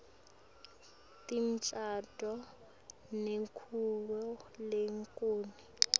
timongcondvo netakhiwo letehlukene